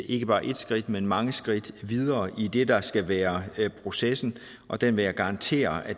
ikke bare et skridt men mange skridt videre i det der skal være processen og den vil jeg garantere at